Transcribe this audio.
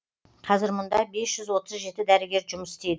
қазір мұнда бес жүз отыз жеті дәрігер жұмыс істейді